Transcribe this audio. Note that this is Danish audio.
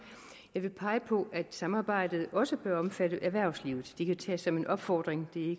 jeg vil pege på at samarbejdet også bør omfatte erhvervslivet det kan tages som en opfordring det er